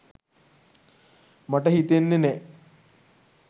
මට හිතෙන්නෙ නෑ